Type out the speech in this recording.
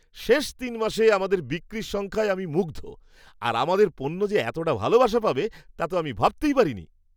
শেষ তিনমাসে আমাদের বিক্রির সংখ্যায় আমি মুগ্ধ আর আমাদের পণ্য যে এতটা ভালোবাসা পাবে তা তো ভাবতেই পারিনি!